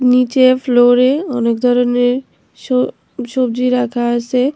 নীচে ফ্লোরে অনেক ধরনের স সব্জি রাখা আছে।